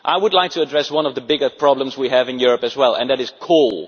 I would like to address one of the biggest problems we have in Europe as well, and that is coal.